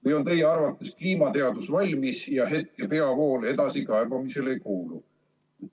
Või on teie arvates kliimateadus valmis ja hetke peavool edasikaebamisele ei kuulu?